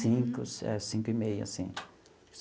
Cinco, cinco e meia, assim.